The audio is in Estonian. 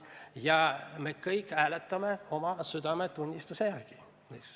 Ja me kõik hääletame oma südametunnistuse järgi.